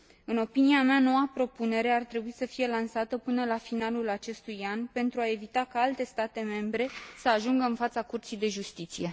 În opinia mea, noua propunere ar trebui să fie lansată până la finalul acestui an, pentru a evita ca alte state membre să ajungă în fața Curții de Justiție.